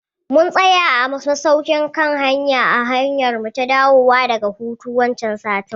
Mun tsaya a masaukin kan hanya a hanyarmu ta dawowa daga hutu wancan satin